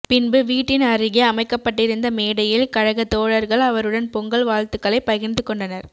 பின்பு வீட்டின் அருகே அமைக்கப்பட்டிருந்த மேடையில் கழகத் தோழர்கள் அவருடன் பொங்கல் வாழ்த்துக்களை பகிர்ந்துகொண்டனர்